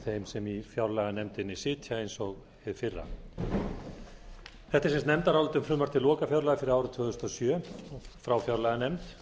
sem í fjárlaganefndinni sitja eins og hið fyrra þetta er sem sagt nefndarálit um frumvarp til lokafjárlaga fyrir árið tvö þúsund og sjö frá fjárlaganefnd